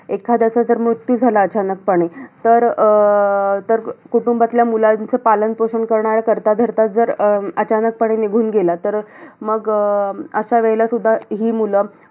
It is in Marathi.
एखाद्याचा जर मृत्यू झाला अचानकपणे, तर अं तर, कुटुंबातल्या मुलांचं पालनपोषण करणाऱ्या कर्ता-धर्ताच जर अं अचानकपणे निघून गेला. तर मग अं अशा वेळेला सुद्धा ही मुलं